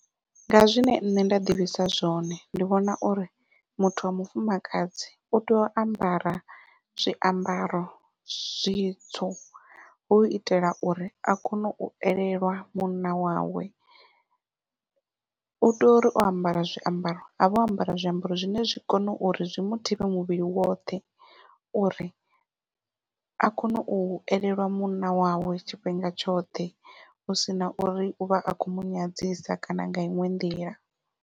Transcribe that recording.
Nga zwine nṋe nda ḓivhisa zwone ndi vhona uri muthu wa mufumakadzi u tea u ambara zwiambaro zwitsu hu itela uri a kone u elelwa munna wawe, u tea uri o ambara zwiambaro avha o ambara zwiambaro zwine zwi kone uri zwi muthivhe muvhili woṱhe uri a kone u elelwa munna wawe tshifhinga tshoṱhe hu sina uri uvha a kho munyadzisa kana nga iṅwe nḓila.